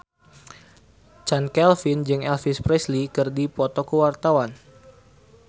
Chand Kelvin jeung Elvis Presley keur dipoto ku wartawan